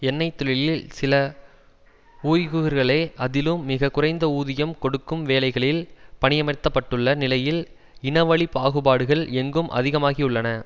எண்ணெய் தொழியில் சில உய்கூர்களே அதிலும் மிக குறைந்த ஊதியம் கொடுக்கும் வேலைகளில் பணியமர்த்தப்பட்டுள்ள நிலையில் இனவழி பாகுபாடுகள் எங்கும் அதிகமாகி உள்ளன